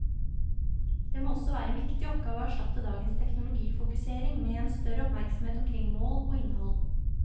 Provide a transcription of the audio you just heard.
Det må også være en viktig oppgave å erstatte dagens teknologifokusering med en større oppmerksomhet omkring mål og innhold.